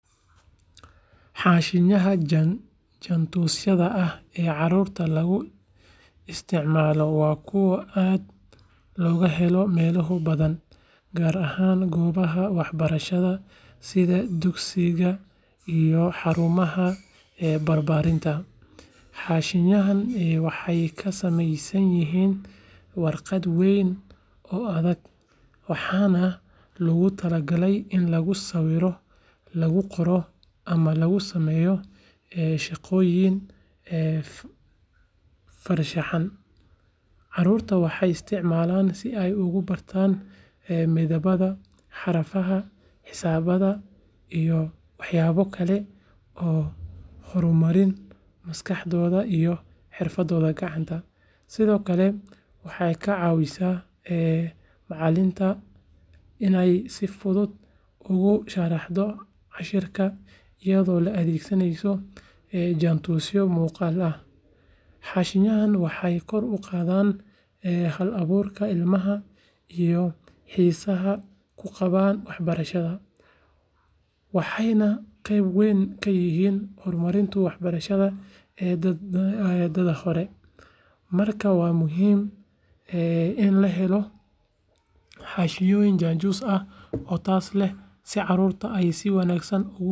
Xaashiyaha jaantusyada ah ee carruurta lagu isticmaalo waa kuwo aad looga helo meelo badan, gaar ahaan goobaha waxbarashada sida dugsiyada iyo xarumaha barbaarinta. Xaashiyadani waxay ka samaysan yihiin warqad weyn oo adag, waxaana loogu talagalay in lagu sawiro, lagu qoro ama lagu sameeyo shaqooyin farshaxan. Carruurta waxay isticmaalaan si ay ugu bartaan midabada, xarfaha, xisaabta, iyo waxyaabo kale oo horumariya maskaxdooda iyo xirfadooda gacanta. Sidoo kale waxay ka caawisaa macallimiinta inay si fudud ugu sharraxaan casharrada iyadoo la adeegsanayo jaantusyo muuqaal ah. Xaashiyadani waxay kor u qaadaan hal-abuurka ilmaha iyo xiisaha uu u qabo waxbarashada, waxayna qeyb weyn ka yihiin horumarka waxbarashada ee da’da hore. Markaa waa muhiim in la helo xaashiyo jaantus ah oo tayo leh si carruurtu ay si wanaagsan ugu koraan dhinaca garashada iyo curinta.